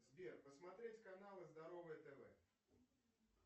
сбер посмотреть каналы здоровое тв